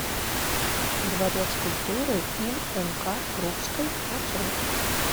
дворец культуры им нк крупской маршрут